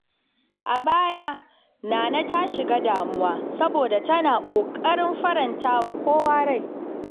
A baya, Nana ta shiga damuwa saboda tana ƙoƙarin faranta wa kowa rai.